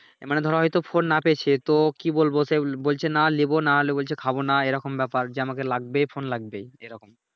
মানি ধরো এইতো ফোন নাহ পেয়েছি তো কি বলবো সে বলছে নাহ লেবো নাহ আনলে বলছে খাবো নাহ এইরকম ব্যাপার যে আমাকে লাগবেই ফোন লাগবেই এইরকম